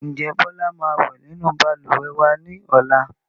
Ǹjẹ́ Bọlá máa wẹ nínú Balùwẹ̀ wa ni ọ̀la?